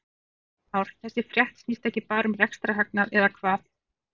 Heimir Már: Þessi frétt snýst ekki bara um rekstrarhagnað eða hvað?